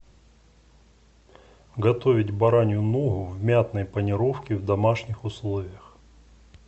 готовить баранью ногу в мятной панировке в домашних условиях